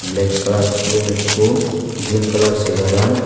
black kalaar sulum ikko green kalar chegaran.